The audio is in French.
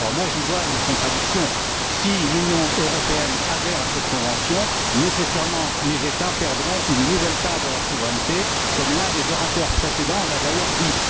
J'y vois une contradiction si l'Union européenne adhère à cette convention, les États perdront nécessairement une nouvelle part de leur souveraineté, comme l'un des orateurs précédents l'a d'ailleurs dit.